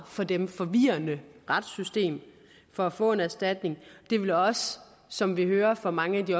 for dem forvirrende retssystem for at få en erstatning det vil også som vi hører fra mange af de